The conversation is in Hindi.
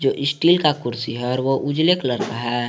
जो स्टील का कुर्सी है और वो उजले कलर का है।